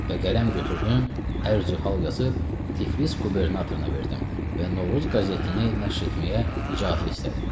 Və qələm götürdüm, ərizə hal yazıb Tiflis qubernatoruna verdim və Novruz qəzetini nəşr etməyə icazə istədim.